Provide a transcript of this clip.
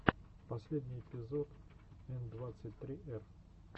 последний эпизод н двадцать три р